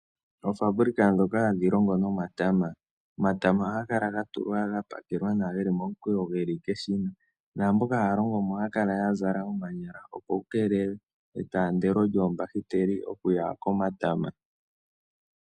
Oofaabulika ndhoka hadhi longo nomatama. Omatama ohaga kala ga tulwa ga pakelwa nawa ge li momukweyo ge li keshina. Naamboka haya longo mo ohaya kala ya zala omanyala, opo ku keelelwe etaandelo lyoombahiteli okuya komatama.